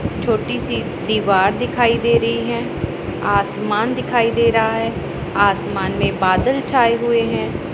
छोटी सी दीवार दिखाई दे रही है आसमान दिखाई दे रहा है आसमान में बादल छाए हुए है।